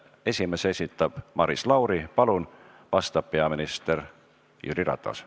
Esimese küsimuse esitab Maris Lauri, vastab peaminister Jüri Ratas.